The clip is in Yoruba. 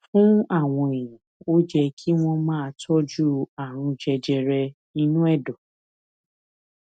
fún àwọn èèyàn ó yẹ kí wón máa tójú àrùn jẹjẹrẹ inú èdò